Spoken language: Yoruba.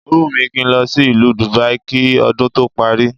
Ó wùn mí kí n lọ sí ìlú Dubai kí ọdún tó parí